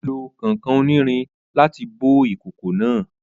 Ó lo kànkàn onírin láti bó ìkòkò náà